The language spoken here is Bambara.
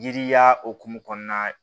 Yiriya hokumu kɔnɔna na